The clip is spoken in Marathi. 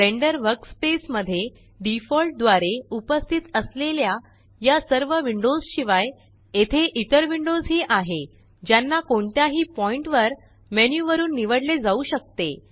ब्लेंडर वर्कस्पेस मध्ये डिफॉल्ट द्वारे उपस्थित असलेल्या या सर्व विंडोस शिवाय येथे इतर विंडोज ही आहे ज्याना कोणत्याही पॉइण्ट वर मेन्यु वरुन निवडले जाऊ शकते